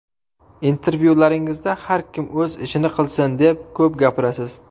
Intervyularingizda har kim o‘z ishini qilsin deb ko‘p gapirasiz.